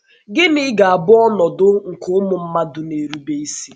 Gịnị ga - abụ ọnọdụ nke ụmụ mmadụ na - erube isi?